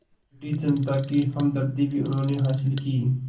British जनता की हमदर्दी भी उन्होंने हासिल की